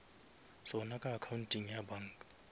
sona ka accounteng ya banka